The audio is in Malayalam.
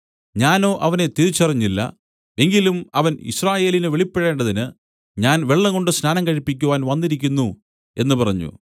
ഞാനോ അവനെ തിരിച്ചറിഞ്ഞില്ല എങ്കിലും അവൻ യിസ്രായേലിന് വെളിപ്പെടേണ്ടതിന് ഞാൻ വെള്ളംകൊണ്ട് സ്നാനം കഴിപ്പിക്കുവാൻ വന്നിരിക്കുന്നു എന്നു പറഞ്ഞു